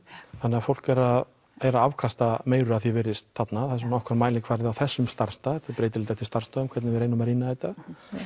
þannig að fólk er að er að afkasta meiru af því er virðist þarna það er svona okkar mælikvarði á þessum starfsstað þetta breytilegt eftir starfsstöðum hvernig við reynum að rýna þetta þú